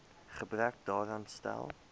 gebrek daaraan stel